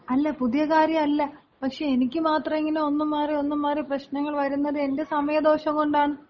അല്ല പുതിയ കാര്യം അല്ല. പക്ഷെ എനിക്ക് മാത്രം ഇങ്ങനെ ഒന്ന് മാറി ഒന്ന് മാറി പ്രശ്നങ്ങൾ വരുന്നത് എന്‍റെ സമയദോഷം കൊണ്ടാണ്.